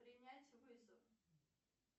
принять вызов